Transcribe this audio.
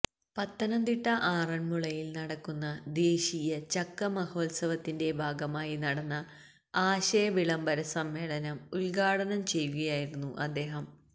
പത്തനംതിട്ട ആറന്മുളയില് നടക്കുന്ന ദേശീയ ചക്ക മഹോത്സവത്തിന്റെ ഭാഗമായി നടന്ന ആശയ വിളംബര സമ്മേളനം ഉദ്ഘാടനം ചെയ്യുകയായിരുന്നു അദ്ദേഹം